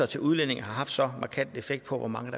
til udlændinge har haft så markant en effekt på hvor mange